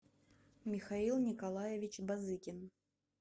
михаил николаевич базыкин